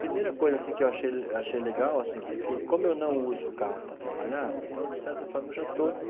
Primeira coisa assim que eu achei eu achei legal assim, porque como eu não uso carro para trabalhar, então de certa forma eu já estou